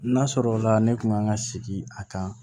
N'a sɔrɔla ne kun kan ka sigi a kan